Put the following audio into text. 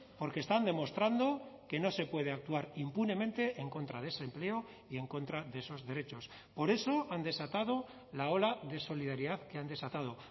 porque están demostrando que no se puede actuar impunemente en contra de ese empleo y en contra de esos derechos por eso han desatado la ola de solidaridad que han desatado